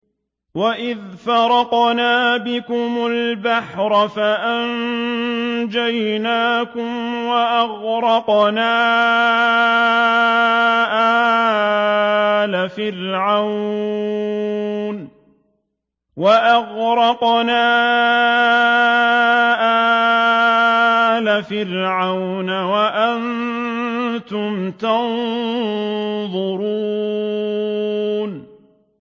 وَإِذْ فَرَقْنَا بِكُمُ الْبَحْرَ فَأَنجَيْنَاكُمْ وَأَغْرَقْنَا آلَ فِرْعَوْنَ وَأَنتُمْ تَنظُرُونَ